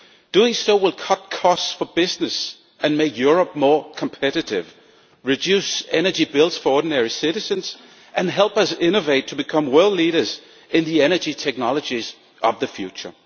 Doing so will cut costs for business and make Europe more competitive, reduce energy bills for ordinary citizens and help us innovate to become world leaders in the energy technologies of the future.